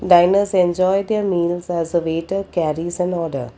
diners enjoy their meals as a waiter carries an order.